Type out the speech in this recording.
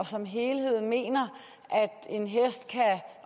som helhed mener